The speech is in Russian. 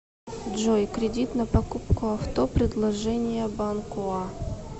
джой кредит на покупку авто предложения банкоа